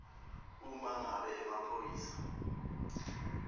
uma ngabe emaphoyisa